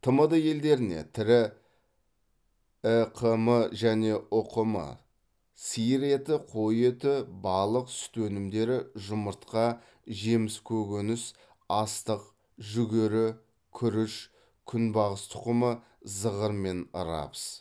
тмд елдеріне тірі іқм және ұқм сиыр еті қой еті балық сүт өнімдері жұмыртқа жеміс көкөніс астық жүгері күріш күнбағыс тұқымы зығыр мен рапс